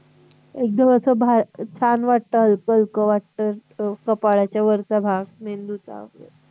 एकदम असं भाछान वाटतं हलकं-हलकं वाटतं. कपाळाच्या वरचा भाग, मेंदूचा वैगेरे.